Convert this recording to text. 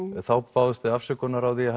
þá báðust þið afsökunar á því